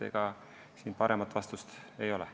Ega siin paremat vastust ei ole.